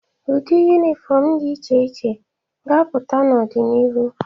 Ụdị yunifọmụ dị iche iche ga-apụta n'ọdịnihu.